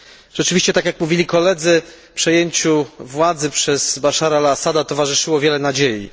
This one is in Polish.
Rzeczywiście tak jak mówili koledzy przejęciu władzy przez Baszara al Assada towarzyszyło wiele nadziei.